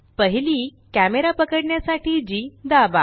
पहिली कॅमरा पकडण्यासाठी जी दाबा